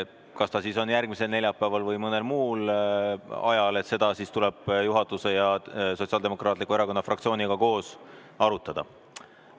Kas see on siis järgmisel neljapäeval või mõnel muul ajal, seda tuleb juhatuse ja Sotsiaaldemokraatliku Erakonna fraktsiooniga koos arutada.